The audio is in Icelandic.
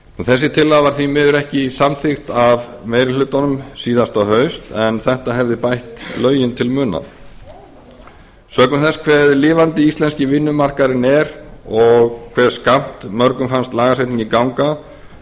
þessi tillaga var því miður ekki samþykkt af meiri hlutanum síðasta haust en þetta hefði bætt lögin til muna sökum þess hve lifandi íslenski vinnumarkaðurinn er og hve skammt mörgum fannst lagasetningin ganga